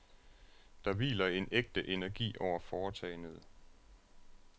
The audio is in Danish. Der hviler en ægte energi over foretagendet.